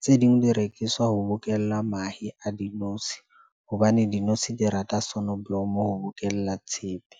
Tse ding di rekiswa ho bokella mahe a dinotshi hobane dinotshi di rata sonoblomo ho bokella tshepe.